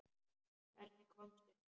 Hvernig komstu hingað?